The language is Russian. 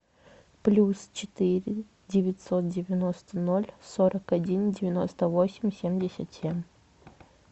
плюс четыре девятьсот девяносто ноль сорок один девяносто восемь семьдесят семь